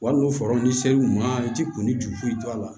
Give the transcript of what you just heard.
Wali n'u far'u ser'u ma i ti kun ni juguye to a la